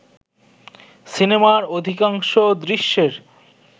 সিনেমার অধিকাংশ দৃশ্যের